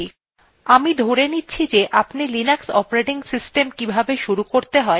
আমি ধরে নিচ্ছি যে আপনি linux operating system কিভাবে শুরু করতে হয় ত়া জানেন